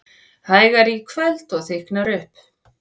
Hægari í kvöld og þykknar upp